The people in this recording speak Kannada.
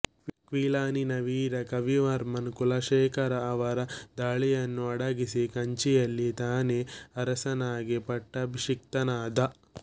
ಕ್ವಿಲಾನಿನ ವೀರ ಕವಿವರ್ಮನ್ ಕುಲಶೇಖರ ಅವರ ದಾಳಿಯನ್ನು ಅಡಗಿಸಿ ಕಂಚಿಯಲ್ಲಿ ತಾನೇ ಅರಸನಾಗಿ ಪಟ್ಟಾಭಿಷಿಕ್ತನಾದ